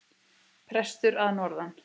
Prestur að norðan!